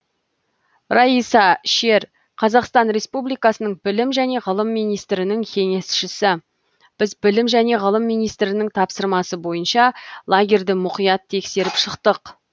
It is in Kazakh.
раиса шер қазақстан республикасының білім және ғылым министрінің кеңесшісі біз білім және ғылым министрінің тапсырмасы бойынша лагерьді мұқият тексеріп шықтық